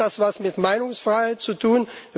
Hat das etwas mit Meinungsfreiheit zu tun?